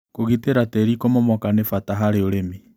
Kũgitĩra tĩri kũmomoka nĩ bata harĩ ũrĩmi.